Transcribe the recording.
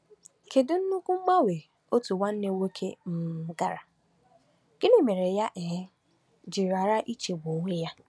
Kedu nnukwu mgbanwe otu nwanne nwoke um gara, gịnị mere ya um ji ghara ichegbu onwe ya?